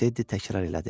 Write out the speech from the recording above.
Tedi təkrar elədi.